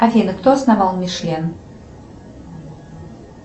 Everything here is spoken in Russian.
афина кто основал мишлен